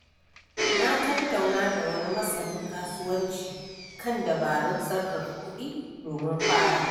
Na tattauna da wani masanin kasuwanci kan dabarun sarrafa kuɗi domin farawa.